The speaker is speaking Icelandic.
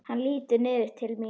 Hann lítur niður til mín.